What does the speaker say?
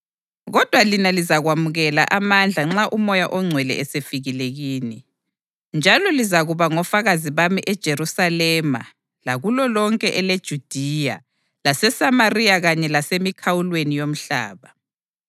Kodwa lina lizakwamukela amandla nxa uMoya oNgcwele esefikile kini, njalo lizakuba ngofakazi bami eJerusalema lakulo lonke eleJudiya laseSamariya kanye lasemikhawulweni yomhlaba.”